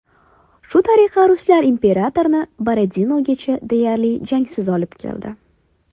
Shu tariqa ruslar imperatorni Borodinogacha deyarli jangsiz olib keldi.